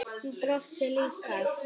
Hún brosti líka.